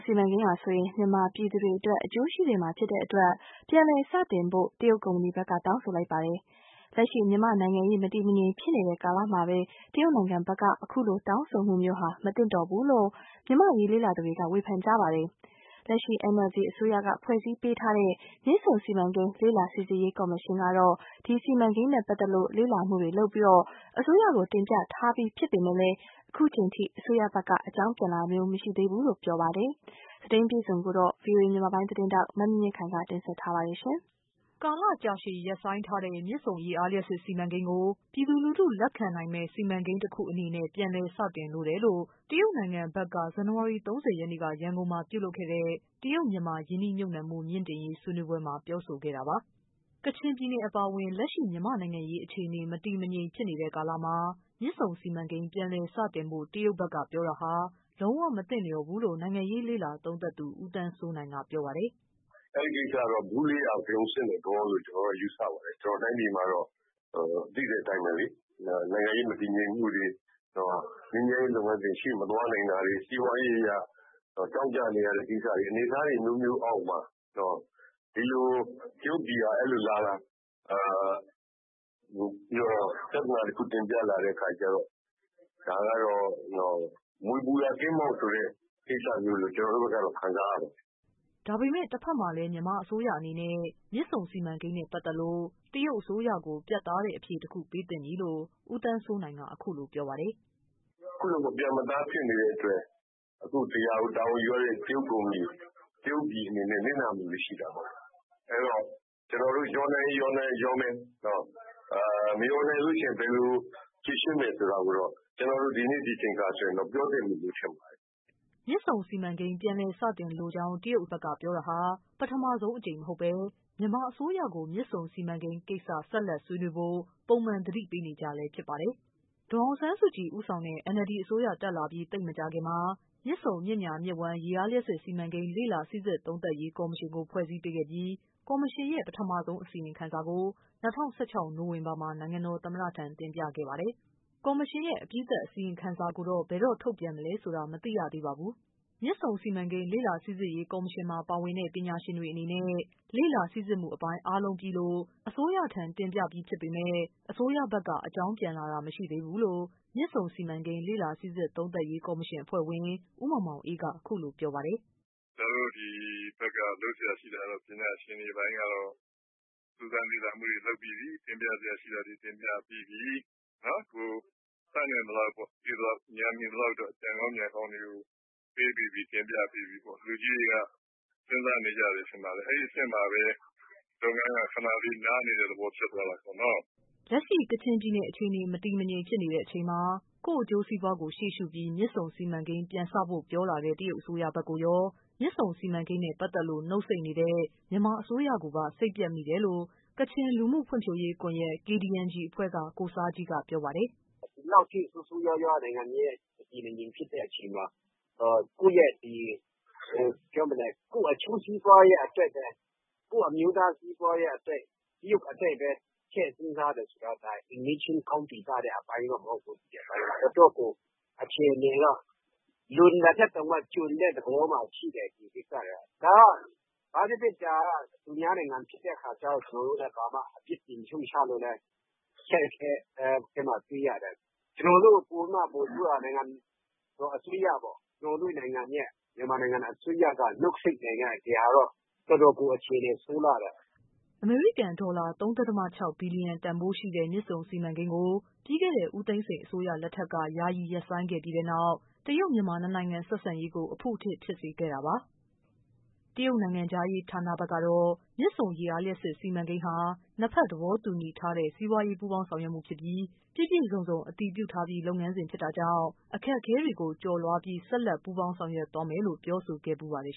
စီမံကိန်းဟာ မြန်မာပြည်သူတွေအတွက် အကျိုးရှိစေမှာဖြစ်တဲ့အတွက် ပြန်လည်စတင်ဖို့ တရုတ် ကုမ္ပဏီ ဘက်က တောင်းဆိုလိုက်ပါတယ်။ လက်ရှိ မြန်မာ့နိုင်ငံရေး မတည်မငြိမ်ဖြစ်နေတဲ့ ကာလမှာ တရုတ် နိုင်ငံအနေနဲ့ အခုလို တောင်းဆိုမှုမျိုးဟာ မသင့်လျော်ဘူးလို့ မြန်မာ့အရေး လေ့လာသူတွေက ဝေဖန် ပါတယ်။ လက်ရှိ NLD အစိုးရက ဖွဲ့စည်းပေးထားတဲ့ မြစ်ဆုံစီမံကိန်း လေ့လာစိစစ်ရေး ကော်မရှင်ကတော့ စီမံကိန်းနဲ့ ပတ်သက်လို့ လေ့လာမှုတွေလုပ်ပြီး အစိုးရကို တင်ပြထားပြီးဖြစ်ပေမယ့် အခု ချိန်အထိ အစိုးရဘက်က အကြောင်းပြန်လာတာ မရှိသေးဘူးလို့ ပြောပါတယ်။ သတင်းအပြည့်အစုံကိုတော့ ဗွီအိုအေ မြန်မာပိုင်း သတင်းထောက် မမြင့်မြင့်ခိုင်က တင်ပြပေးပါမယ်။ ကာလကြာရှည်ရပ်ဆိုင်းထားတဲ့ မြစ်ဆုံ ရေအားလျှပ်စစ်စီမံကိန်းကို ပြည်သူလူထု လက်ခံနိုင်မယ့် စီမံ ကိန်း တခုအနေနဲ့ ပြန်လည် စတင်လိုတယ်လို့ တရုတ်ကုမ္ပဏီ ဘက်က ဇန်နဝါရီ ၃၀ရက်နေ့ ရန်ကုန်မှာ ပြုလုပ်ခဲ့တဲ့ တရုတ်-မြန်မာ ရင်းနှီးမြှပ်နှံမှု မြှင့်တင်ရေး ဆွေးနွေးပွဲမှာ ပြောဆိုခဲ့တာပါ။ ကချင်ပြည်နယ်အပါအဝင် လက်ရှိ မြန်မာ့ နိုင်ငံရေး အခြေအနေ မတည်မငြိမ်ဖြစ်နေတဲ့ ကာလမှာ မြစ် ဆုံ စီမံကိန်း ပြန်လည်စတင်ဖို့ တရုတ်ဘက်ကပြောတာဟာ လုံးဝ မသင့်လျော်ဘူးလို့ နိုင်ငံရေးလေ့လာ သုံးသပ်သူ ဦးသန်းစိုးနိုင်က ပြောပါတယ်။ “အဲ့ဒီကိစ္စကတော့ ဗူးလေးရာ ဗရုံဆင့်တဲ့ သဘောလို့ ယူဆရပါတယ်။ ကျွန်တော်တို့ တိုင်းပြည်မှာတော့ သိတဲ့ အတိုင်းပဲလေ။ နိုင်ငံရေး မတည်ငြိမ်မှုတွေ၊ ငြိမ်းချမ်းရေး လုပ်ငန်းစဉ်ရှေ့မသွားနိုင်တာတွေ၊ စီးပွား ရေးအရ ကြောင့်ကြနေရတဲ့ ကိစ္စတွေ အနေအထားတွေ အမျိုးမျိုးအောက်မှာ တရုတ်ပြည်က ပြဿနာ တခုတင်ပြလာတဲ့အခါကျတော့ မြွေပူရာကင်းမောက်ဆိုတဲ့ ကိစ္စမျိုးလို့ ကျွန်တော်တို့ဘက်က ခံစားရပါ တယ်” ဒါပေမယ့် တဖက်မှာလည်း မြန်မာအစိုးရအနေနဲ့ မြစ်ဆုံစီမံကိန်းနဲ့ ပတ်သက်လို့ တရုတ်ကို ပြတ် သားတဲ့ အဖြေတခုပေးသင့်ပြီလို့ ဦးသန်းစိုးနိုင်က အခုလို ပြောပါတယ်။ “ အခုလို မပြတ်မသားဖြစ်နေတဲ့အတွက် ဒီဟာကို တာဝန်ယူရတဲ့ တရုတ်ပြည်၊ တရုတ်ကုမ္ပဏီအနေနဲ့ နစ်နာမှုလေးရှိတာပေါ့။ အဲ့တော့ ကျွန်တော်တို့ လျော်နိုင်ရင် လျော်မယ်၊ မလျော်နိုင်ရင် ဘယ်လို ဖြေရှင်းမယ်ဆိုတာ တော့ ဒီနေ့ဒီချိန်ခါမှာ ပြောသင့်ပြီလို့ ထင်ပါတယ်။” မြစ်ဆုံစီမံကိန်း ပြန်လည် စတင်လိုကြောင်း တရုတ်ဘက်က ပြောတာဟာ ပထမဆုံးကြိမ် မဟုတ်ဘဲ မြန်မာအစိုးရကို မြစ်ဆုံစီမံကိန်းကိစ္စ ဆက်လက်ဆွေးနွေးဖို့ ပုံမှန် သတိပေးနေကျလည်း ဖြစ်ပါတယ်။ ဒေါ်အောင်ဆန်းစုကြည် ဦးဆောင်တဲ့ NLD အစိုးရတက်လာပြီး သိပ်မကြာခင်မှာ မြစ်ဆုံ မြစ်ညာ မြစ်ဝှမ်း ရေအားလျှပ်စစ် စီမံကိန်း လေ့လာ စိစစ်သုံးသပ်ရေး ကော်မရှင်ကို ဖွဲ့စည်းပေးပြီး ကော်မရှင်ရဲ့ပထမဆုံးအကြိမ် အစီရင်ခံစာကို ၂၀၁၆နိုဝင်ဘာမှာ နိုင်ငံတော်သမ္မတထံ တင်ပြခဲ့တာပါ။ ကော်မရှင်ရဲ့ အပြီးသတ် ခံစာကိုတော့ ဘယ်တော့ ထုတ်ပြန်မလဲဆိုတာ မသိရသေးပါဘူး။ မြစ်ဆုံစီမံကိန်း လေ့လာစိစစ်ရေး ကော်မရှင်မှာ ပါဝင်တဲ့ ပညာရှင်တွေအနေနဲ့ လေ့လာစိစစ်မှုအပိုင်း အားလုံးပြီးလို့ အစိုးရထံ တင်ပြပြီးပေမယ့် အစိုးရဘက်က အကြောင်းပြန်လာတာ မရှိသေးဘူးလို့ မြစ်ဆုံ စီမံကိန်း လေ့လာစိစစ်သုံးသပ်ရေး ကော်မရှင်အဖွဲ့ဝင် ဦးမောင်မောင်အေးက အခုလို ပြောပါ တယ်။ “ ကျွန်တော်တို့ ဒီဖက်က ပညာရှင်တွေပိုင်းကတော့ စူးစမ်းလေ့လာမှုတွေ လုပ်ပြီးပြီ၊ တင်ပြစရာ ရှိတာ တွေ တင်ပြပြီးပြီ၊ ကိုယ်တတ်နိုင်သလောက် သိသလောက် ဉာဏ်မီသလောက် အကြံကောင်း ဉာဏ်ကောင်းတွေ ပေးပြီးပြီ၊ တင်ပြပြီးပြီ။ လူကြီးတွေက စဉ်းစားနေကြတယ် ထင်ပါတယ်။ အဲ့အဆင့်မှာပဲ လုပ်ငန်းက ခဏလေး နားနေတဲ့ သဘောဖြစ်သွားတာပေါ့။” ကချင်ပြည်နယ်အခြေအနေ မတည်မငြိမ် ဖြစ်နေတဲ့အချိန်မှာ ကိုယ့်အကျိုးစီးပွားကို ရှေ့ရှုပြီး မြစ်ဆုံ စီမံ ကိန်း ပြန်စဖို့ ပြောလာတဲ့ တရုတ်နိုင်ငံဘက်ကိုရော၊ မြစ်ဆုံ စီမံကိန်းနဲ့ ပတ်သက်လို့ နှုတ်ဆိတ်နေတဲ့ မြန်မာအစိုးရကိုပါ စိတ်ပျက်မိတယ်လို့ ကချင်လူမှုဖွံ့ဖြိုးရေး ကွန်ယက် (KDNG) အဖွဲ့က ကိုဆားဂျီးက ပြောပါတယ်။ “ ဒီလောက်ထိ ဆိုးဆိုးရွားရွား နိုင်ငံရေး မတည်မငြိမ်ဖြစ်တဲ့အချိန်မှာ ကိုယ့်အကျိုးစီးပွားအတွက်ပဲ ကိုယ့်အမျိုးသား စီးပွားအတွက် တရုတ်အတွက်ပဲ ထည့်စဉ်းစားတာဟာ အိမ်နီးချင်းကောင်း ပီသတဲ့ အပိုင်းတော့ မဟုတ်ဘူး။ တော်တော့်ကို အခြေအနေက လွန်တာထက် ကျွံတဲ့သဘောမှာရှိတယ်၊ ဒီကိစ္စတွေက။ ဘာပဲဖြစ်ဖြစ် ဒါက သူများနိုင်ငံဖြစ်တဲ့အခါကျ ကျွန်တော်တို့လည်း အပြစ်တင်ရှုံ့ချလို့လည်း အခက်အခဲ တွေ့ရတယ်။ ကျွန်တော်တို့ ပိုပြီးမှ ပိုဆိုးတာက ကျွန်တော်တို့ မြန်မာနိုင်ငံအစိုးရက နှုတ်ဆိတ်နေတော့ တော်တော်ကို အခြေအနေ ဆိုးလှတယ်။” အမေရိကန် ဒေါ်လာ ၃.၆ ဘီလျံ တန်ဖိုးရှိတဲ့ မြစ်ဆုံစီမံကိန်းကို ပြီးခဲ့တဲ့ ဦးသိန်းစိန် အစိုးရလက်ထက်က ယာယီ ရပ်ဆိုင်းခဲ့ပြီးတဲ့နောက် တရုတ်-မြန်မာ နှစ်နိုင်ငံဆက်ဆံရေးကို အဖုအထစ် ဖြစ်စေခဲ့တာပါ။ တရုတ် နိုင်ငံခြား ရေးဌာန ဘက်ကတော့ မြစ်ဆုံရေအား လျှပ်စစ်စီမံကိန်းဟာ နှစ်ဘက် သဘောတူထားတဲ့ စီးပွားရေး ပူးပေါင်းဆောင်ရွက်မှု ဖြစ်ပြီး ပြည့်ပြည့်စုံစုံ အတည်ပြုပြီးသား လုပ်ငန်းစဉ် ဖြစ်တာကြောင့် အခက်အခဲတွေကို ကျော်လွှားပြီး ဆက်လက် ပူးပေါင်း ဆောင်ရွက်သွားမယ်လို့လည်း ပြောဆိုခဲ့ဖူးပါတယ်